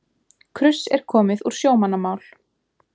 Kruss er komið úr sjómannamál.